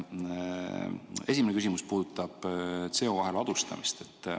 Esimene küsimus puudutab CO2 ladustamist.